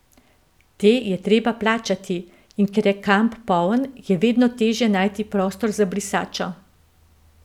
Te je treba plačati, in ker je kamp poln je vedno težje najti prostor za brisačo.